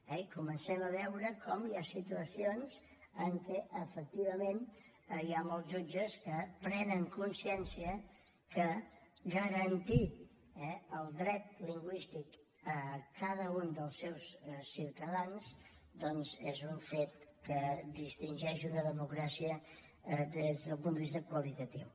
i comencem a veure com hi ha situacions en què efectivament hi ha molts jutges que prenen consciència que garantir el dret lingüístic a cada un dels seus ciutadans doncs és un fet que distingeix una democràcia des del punt de vista qualitatiu